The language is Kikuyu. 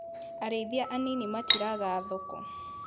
Arĩithia anini matiraga thoko.